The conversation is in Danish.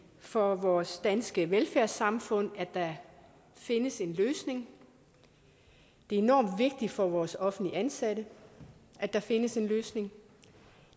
for vores danske velfærdssamfund at der findes en løsning det er enormt vigtigt for vores offentligt ansatte at der findes en løsning